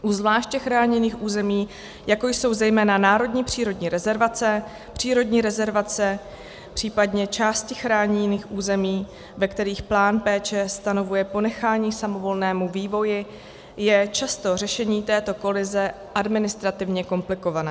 U zvláště chráněných území, jako jsou zejména národní přírodní rezervace, přírodní rezervace, případně části chráněných území, ve kterých plán péče stanovuje ponechání samovolnému vývoji, je často řešení této kolize administrativně komplikované.